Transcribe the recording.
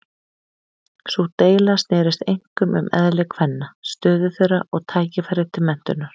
Sú deila snerist einkum um eðli kvenna, stöðu þeirra og tækifæri til menntunar.